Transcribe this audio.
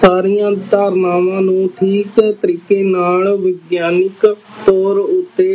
ਸਾਰੀਆਂ ਧਾਰਨਾਵਾਂ ਨੂੰ ਠੀਕ ਤਰੀਕੇ ਨਾਲ ਵਿਗਿਆਨਿਕ ਤੋਰ ਉਤੇ